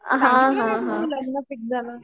हां हां हां